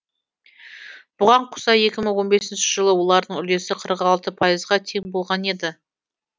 бұған қоса екі мың он бесінші жылы олардың үлесі қырық алты пайызға тең болған еді